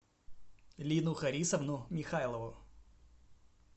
лину харисовну михайлову